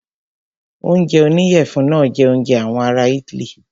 Oúnjẹ oníyẹ̀fun náà jẹ oúnjẹ àwọn ará itály.